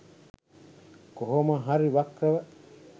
කොහොම හරි වක්‍රව